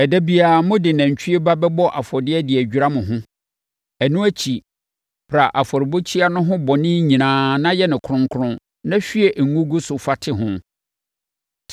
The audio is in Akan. Ɛda biara, mode nantwie ba bɛbɔ afɔdeɛ de adwira mo ho. Ɛno akyi, pra afɔrebukyia no ho bɔne nyinaa na yɛ no kronkron na hwie ngo gu so fa te ho.